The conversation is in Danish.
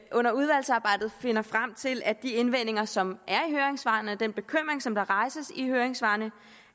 under udvalgsarbejdet finder frem til at de indvendinger som er i høringssvarene og den bekymring som der rejses i høringssvarene